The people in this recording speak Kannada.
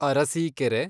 ಅರಸೀಕೆರೆ